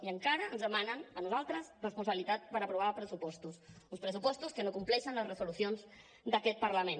i encara ens demanen a nosaltres responsabilitat per aprovar pressupostos uns pressupostos que no compleixen les resolucions d’aquest parlament